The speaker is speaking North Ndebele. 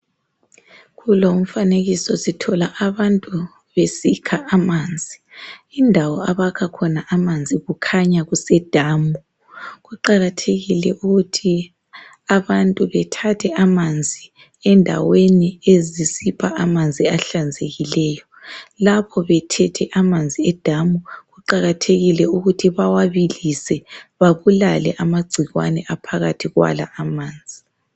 Kulo umfanekiso sithola abantu besikha amanzi, indawo abakha khona amanzi kukhanya kusedamu. Kuqakathekile ukuthi abantu bethathe amanzi endaweni ezisisipha amanzi ahlanzekileyo. Lapho bethethe amanzi edamu kuqakathekile ukuthi bawabilise babulale amagcikwane aphakathi kwala amanzi.